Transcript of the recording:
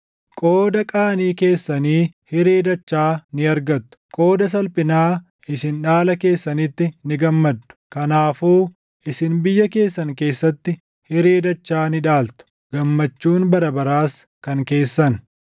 Qooda qaanii keessanii hiree dachaa ni argattu; qooda salphinaa isin dhaala keessanitti ni gammaddu; kanaafuu isin biyya keessan keessatti hiree dachaa ni dhaaltu; gammachuun bara baraas kan keessan.